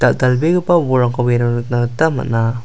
dal·dalbegipa bolrangkoba iano nikna gita man·a.